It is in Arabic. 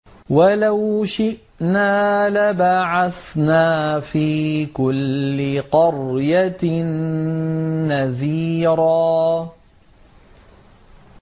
وَلَوْ شِئْنَا لَبَعَثْنَا فِي كُلِّ قَرْيَةٍ نَّذِيرًا